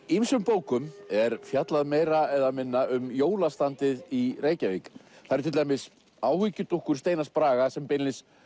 ýmsum bókum er fjallað meira eða minna um jólastandið í Reykjavík það eru til dæmis áhyggjudúkkur Steinars Braga sem beinlínis